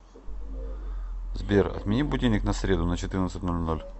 сбер отмени будильник на среду на четырнадцать ноль ноль